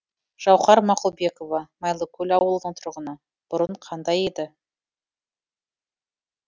жауһар мақұлбекова майлыкөл ауылының тұрғыны бұрын қандай еді